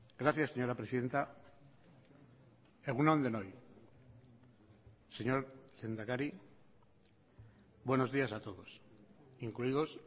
gracias señora presidenta egun on denoi señor lehendakari buenos días a todos incluidos